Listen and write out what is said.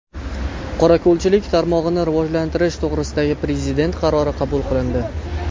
Qorako‘lchilik tarmog‘ini rivojlantirish to‘g‘risidagi Prezident qarori qabul qilindi.